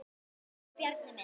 Elsku Bjarni minn.